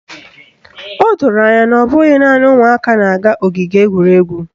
O doro anya na ọ bụghị naanị ụmụaka na-aga ogige egwuregwu